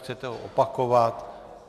Chcete ho opakovat?